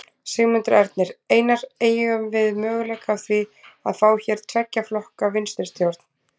Sigmundur Ernir: Einar, eygjum við möguleika á því að fá hér tveggja flokka vinstristjórn?